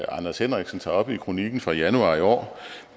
anders henriksen tager op i kronikken fra januar i år